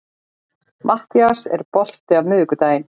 Mattías, er bolti á miðvikudaginn?